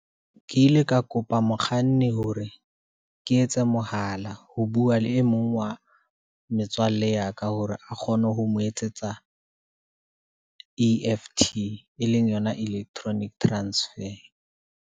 Ke ile ka kopa mokganni hore ke etse mohala, ho bua le e mong wa metswalle ya ka, hore a kgone ho mo etsetsa, E_F_T e leng yona electronic transfer.